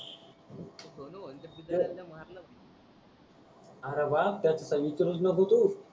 R वा त्याच काहीच करूस नको तु